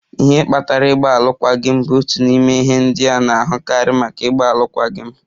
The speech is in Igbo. Ihe kpatara ịgba alụkwaghịm bụ otu n'ime ihe ndị a na-ahụkarị maka ịgba alụkwaghịm.